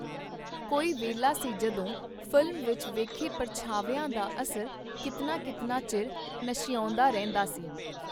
ਕੋਈ ਵੇਲਾ ਸੀ ਜਦੋਂ ਫ਼ਿਲਮ ਵਿਚ ਵੇਖੇ ਪਰਛਾਵਿਆਂ ਦਾ ਅਸਰ ਕੀਤਨਾ ਕੀਤਨਾ ਚਿਰ ਨਸ਼ਿਆਉਂਦਾ ਰਹਿੰਦਾ ਸੀ.